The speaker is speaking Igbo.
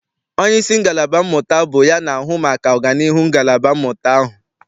Onyeisi ngalaba mmụta bụ ya na-ahụ maka ọganiihu nke ngalaba mmụta ahụ.